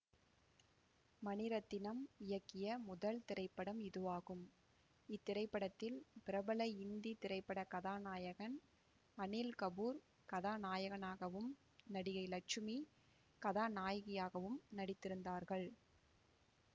மணிரத்தினம் இயக்கிய முதல் திரைப்படம் இதுவாகும் இத்திரைப்படத்தில் பிரபல இந்தி திரைப்பட கதாநாயகன் அனில் கபூர் கதாநாயகனாகவும் நடிகை லட்சுமி கதாநாயகியாகவும் நடித்திருந்தார்கள்